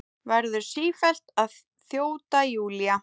Verður sífellt að þjóta, Júlía.